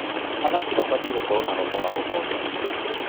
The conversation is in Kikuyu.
Athaki mabatiĩ gũkorwo na roho wa ũhotani.